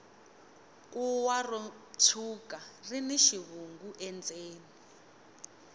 kuwa ro tshwuka rini xivungu endzeni